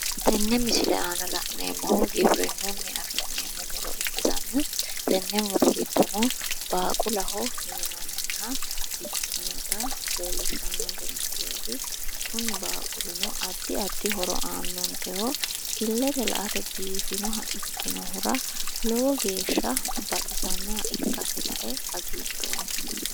Tenne misile aana la'neemohu giwirinnuni afi'neemo muro ikkitanna tenne muro giddono baaqulaho yinanniha ikkinota leelishannonike misileeti kuni baaqulino addi addi horo aannonikeho illete la"ate biifinoha ikkinohura lowo geesha biifannoha ikkasi lae hagiidhooma